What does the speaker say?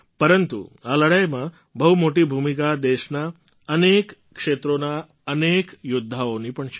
પરંતુ આ લડાઈમાં બહુ મોટી ભૂમિકા દેશનાં અનેક ક્ષેત્રોના અનેક યૌદ્ધાઓની પણ છે